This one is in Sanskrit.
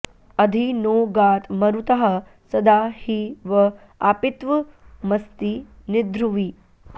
अधि॑ नो गात मरुतः॒ सदा॒ हि व॑ आपि॒त्वमस्ति॒ निध्रु॑वि